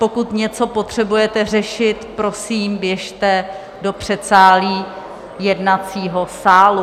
Pokud něco potřebujete řešit, prosím, běžte do předsálí jednacího sálu.